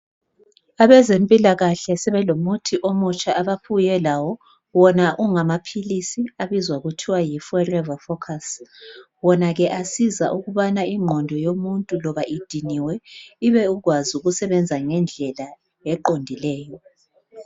Abezempilakahle sebelomuthi omutsha abafuye lawo wona ongamaphilisi abizwa kuthiwa yiForever Focus wona ke asiza ukubana inqondo umuntu loba idiniwe ibe ikwazi ukusebenza ngendlela eqondileyo.